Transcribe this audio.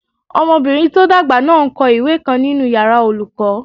Ọmọbìnrin tó dàgbà náà n kọ ìwé kan nínu yàrá olùkọ́